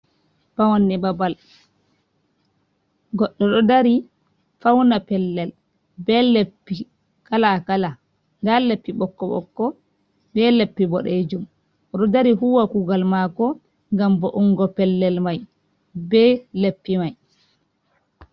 Paawanne babal goddo do dari fauna pellel be leppi kalakala da leppi bokko bokko be leppi bodejum, odo dari huwa kugal mako gam bo ungo pellel mai be leppi mai.